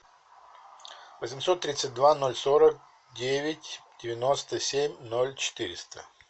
восемьсот тридцать два ноль сорок девять девяносто семь ноль четыреста